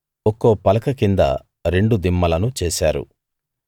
ఒక్కో పలక కింద రెండు దిమ్మలను చేశారు